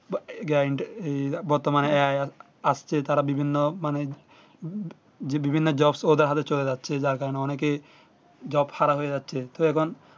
Guarantee বর্তমানে আসছে তারা বিভিন্ন মানে বিভিন্ন job ওদের হাতে চলে যাচ্ছে যার কারণে অনেকে job হারা হয়ে যাচ্ছে তো এখন